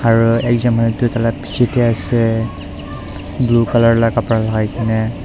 aru ekjon manu tu taila bichae tae ase blue colour la kapra lakai kenae.